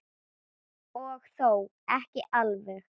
Og þó ekki alveg.